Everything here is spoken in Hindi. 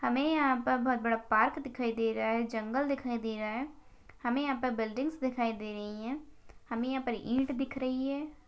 हमे यहा पर बहुत बड़ा पार्क दिखाई दे रहा है। जंगल दिखाई दे रहा है। हमे यहा पे बिल्डिंग्स दिखाई दे रही है। हमे यहा पर ईट दिख रही है।